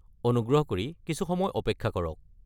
অনুগ্ৰহ কৰি কিছু সময় অপেক্ষা কৰক।